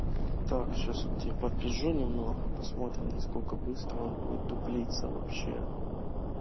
так сейчас я вот и подпизжу немного посмотрим насколько быстро он будет дуплиться вообще